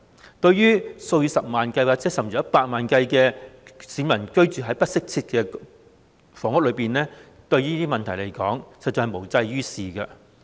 相對於數以十萬，甚至百萬計居於不適切房屋的市民而言，實在無濟於事。